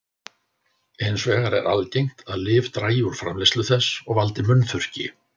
hins vegar er algengt að lyf dragi úr framleiðslu þess og valdi munnþurrki